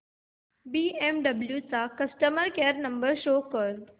BMW चा customer care क्रमांक show कर